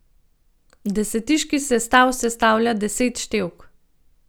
Desetiški sestav sestavlja deset števk.